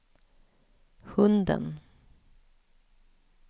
hunden